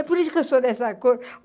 É por isso que eu sou dessa cor.